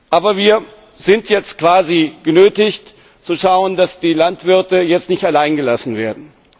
Aber wir sind jetzt quasi genötigt zu schauen, dass die Landwirte jetzt nicht alleingelassen werden.